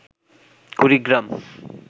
Kurigram